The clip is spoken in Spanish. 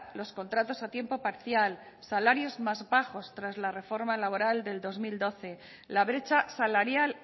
los contratos a tiempo parcial salarios más bajos tras la reforma laboral del dos mil doce la brecha salarial